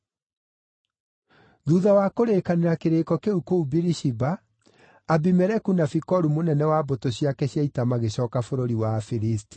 Thuutha wa kũrĩkanĩra kĩrĩĩko kĩu kũu Birishiba, Abimeleku na Fikolu mũnene wa mbũtũ ciake cia ita, magĩcooka bũrũri wa Afilisti.